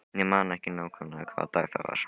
Ég man ekki nákvæmlega hvaða dag það var.